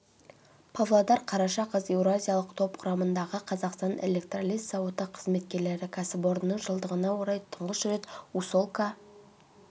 павлодар қараша қаз еуразиялық топ құрамындағы қазақстан электролиз зауыты қызметкерлері кәсіпорынның жылдығына орай тұңғыш рет усолка